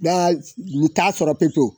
Nka n t'a sɔrɔ peto.